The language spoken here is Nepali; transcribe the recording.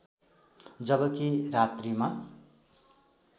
जबकि रात्रिमा